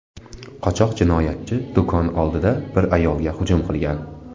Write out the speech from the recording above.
Qochoq jinoyatchi do‘kon oldida bir ayolga hujum qilgan.